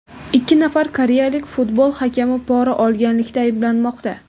Ikki nafar koreyalik futbol hakami pora olganlikda ayblanmoqda.